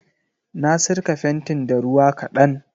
Na sirka fentin da ruwa ƙadan.